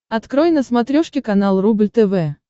открой на смотрешке канал рубль тв